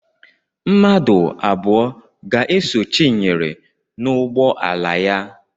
Mmadụ abụọ ga-eso Chinyere n'ụgbọala ya.